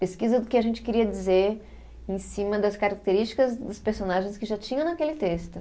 Pesquisa do que a gente queria dizer em cima das características dos personagens que já tinham naquele texto.